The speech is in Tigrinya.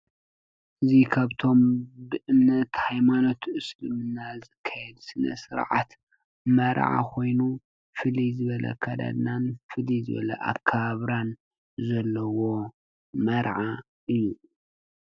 እዙይ ካብቶም ብእምነት ሃይማኖት እስልምና ዝካየድ ስነ ስርዓት መርዓ ኮይኑ ፍልይ ዝበለ አካዳድናን ፍልይ ዝበለ አከባብራን ዘለዎ መርዓ ኣዩ።